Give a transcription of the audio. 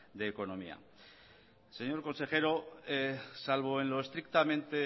de la economía señor consejero salvo en lo estrictamente